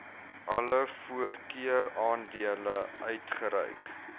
alle voorkeuraandele uitgereik